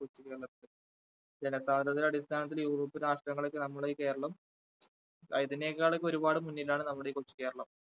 കൊച്ചുകേരളത്തിൽ ജനസാന്ദ്രതയുടെ അടിസ്ഥാനത്തിൽ യൂറോപ്യൻ രാഷ്ട്രങ്ങളേക്കാൾ നമ്മളെ ഈ കേരളം അതിനേക്കാൾ ഒരുപാട് മുന്നിലാണ് നമ്മുടെ ഈ കൊച്ചു കേരളം.